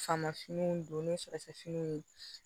Famafiniw don ni surafɛ finiw ye